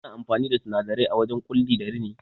Ana amfani da sinadarai a wurin Ƙulli da rini